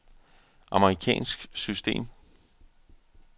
amerikansk system